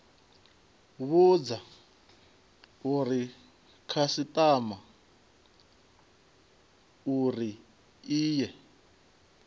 vhudza khasitama uri i ye